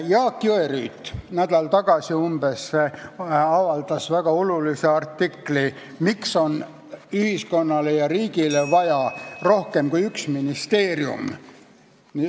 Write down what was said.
Jaak Jõerüüt avaldas umbes nädal tagasi väga olulise artikli, miks on ühiskonnale ja riigile vaja rohkemat kui üks ministeerium.